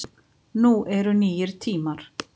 Nú eru nýir tímar